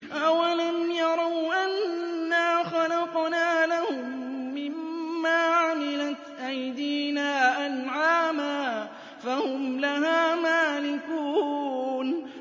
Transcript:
أَوَلَمْ يَرَوْا أَنَّا خَلَقْنَا لَهُم مِّمَّا عَمِلَتْ أَيْدِينَا أَنْعَامًا فَهُمْ لَهَا مَالِكُونَ